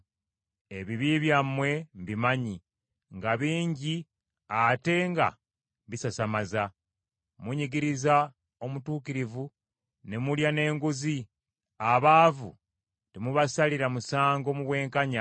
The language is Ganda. Ebibi byammwe mbimanyi, nga bingi ate nga bisasamaza. Munyigiriza omutuukirivu ne mulya n’enguzi, abaavu temubasalira musango mu bwenkanya.